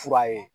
Fura ye